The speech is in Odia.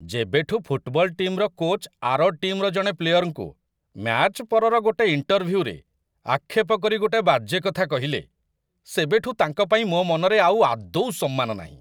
ଯେବେଠୁ ଫୁଟ୍‌ବଲ ଟିମ୍‌ର କୋଚ୍‌ ଆର ଟିମ୍‌ର ଜଣେ ପ୍ଲେୟରଙ୍କୁ, ମ୍ୟାଚ୍ ପରର ଗୋଟେ ଇଣ୍ଟରଭ୍ୟୁରେ, ଆକ୍ଷେପ କରି ଗୋଟେ ବାଜେ କଥା କହିଲେ, ସେବେଠୁ ତାଙ୍କ ପାଇଁ ମୋ' ମନରେ ଆଉ ଆଦୌ ସମ୍ମାନ ନାହିଁ ।